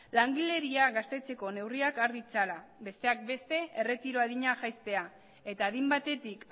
langileria gaztetzeko neurriak har ditzala besteak beste erretiro adina jaistea eta adin batetik